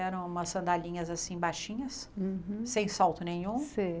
Eram umas sandalinhas assim baixinhas, Uhum sem salto nenhum Sei.